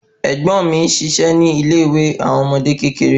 Ègbón mi n ṣiṣẹ ni ile ìwé àwọn ọmọdé kékeré